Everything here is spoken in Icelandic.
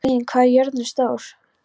Hlín, hvað er jörðin stór?